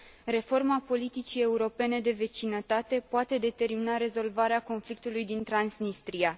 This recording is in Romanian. Reforma politicii europene de vecinătate poate determina rezolvarea conflictului din Transnistria.